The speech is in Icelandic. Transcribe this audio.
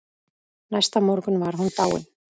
Næsta morgun var hún dáin.